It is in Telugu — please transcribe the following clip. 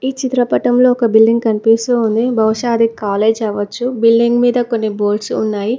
ఈ చిత్రపటంలో ఒక బిల్డింగ్ కనిపిస్తూ ఉంది బహుశా అది కాలేజ్ అవ్వచ్చు బిల్డింగ్ మీద కొన్ని బోడ్సు ఉన్నాయి.